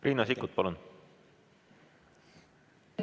Riina Sikkut, palun!